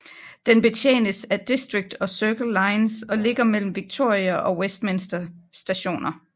Den betjenes af District og Circle lines og ligger mellem Victoria og Westminster Stationer